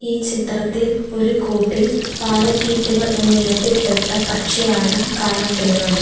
ഈ ചിത്രത്തിൽ ഒരു കൂട്ടിൽ പാരക്കീറ്റുകൾ എന്ന ഇനത്തിൽ പെട്ട പക്ഷിയാണ് കാണപ്പെടുന്നത്.